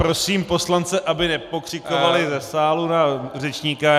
Prosím poslance, aby nepokřikovali ze sálu na řečníka.